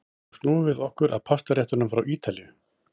Nú snúum við okkur að pastaréttunum frá Ítalíu.